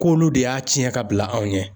K'olu de y'a ciyɛn ka bila anw ɲɛ.